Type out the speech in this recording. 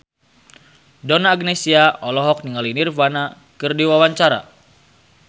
Donna Agnesia olohok ningali Nirvana keur diwawancara